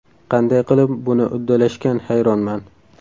Qanday qilib buni uddalashgan hayronman.